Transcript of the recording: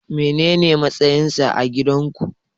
Menene matsayinsa a gidan ku?